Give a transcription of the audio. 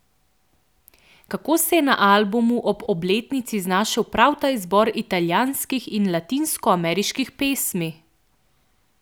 Kako se je na albumu ob obletnici znašel prav ta izbor italijanskih in latinskoameriških pesmi?